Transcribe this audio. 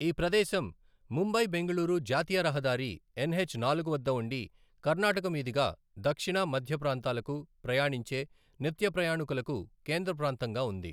ఈ ప్రదేశం ముంబై బెంగళూరు జాతీయ రహదారి ఎన్హెచ్ నాలుగు వద్ద ఉండి, కర్ణాటక మీదుగా దక్షిణ, మధ్య ప్రాంతాలకు ప్రయాణించే నిత్యప్రయాణికులకు కేంద్ర ప్రాంతంగా ఉంది.